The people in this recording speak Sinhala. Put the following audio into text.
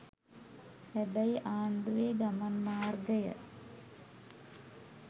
හැබැයි ආණ්ඩුවේ ගමන් මාර්ගය